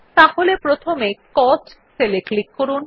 তাহলে প্রথমে cost cell এ ক্লিক করুন